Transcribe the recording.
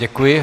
Děkuji.